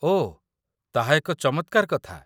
ଓଃ! ତାହା ଏକ ଚମତ୍କାର କଥା